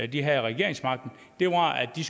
de havde regeringsmagten var at de